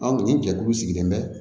nin jɛkulu sigilen bɛ